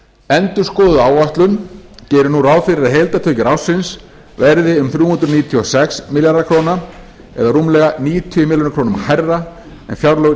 endurskoðuð áætlun gerir nú ráð fyrir að heildartekjur ársins verði um þrjú hundruð níutíu og sex milljarðar króna eða rúmlega níutíu milljónir króna hærra en fjárlög gerðu